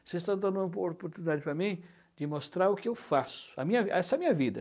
Vocês estão dando uma opor oportunidade para mim de mostrar o que eu faço, a minha vi, essa é minha vida.